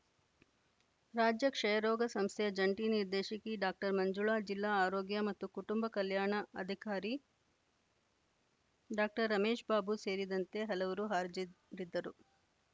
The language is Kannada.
ರಾಜ್ಯ ಕ್ಷಯರೋಗ ಸಂಸ್ಥೆಯ ಜಂಟಿ ನಿರ್ದೇಶಕಿ ಡಾಕ್ಟರ್ ಮಂಜುಳಾ ಜಿಲ್ಲಾ ಆರೋಗ್ಯ ಮತ್ತು ಕುಟುಂಬ ಕಲ್ಯಾಣ ಅಧಿಕಾರಿ ಡಾಕ್ಟರ್ ರಮೇಶ್‌ಬಾಬು ಸೇರಿದಂತೆ ಹಲವರು ಹಾಜರಿದ್ದರು